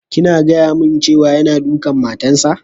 Kina gaya mun cewa yana dukan matan sa?